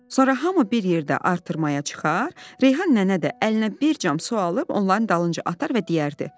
Sonra hamı bir yerdə artırmaya çıxar, Reyhan nənə də əlinə bir cam su alıb onların dalınca atar və deyərdi: